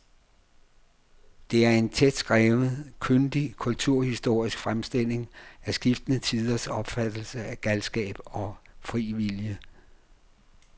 Det er en tætskrevet, kyndig kulturhistorisk fremstilling af skiftende tiders opfattelse af galskab og fri vilje.